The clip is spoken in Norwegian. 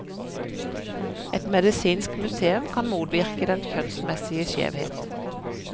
Et medisinsk museum kan motvirke den kjønnsmessige skjevheten.